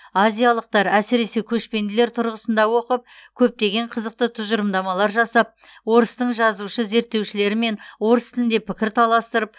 азиялықтар әсіресе көшпенділер тұрғысында оқып көптеген қызықты тұжырымдамалар жасап орыстың жазушы зерттеушілерімен орыс тілінде пікір таластырып